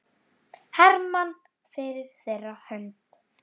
Hermann fyrir þeirra hönd.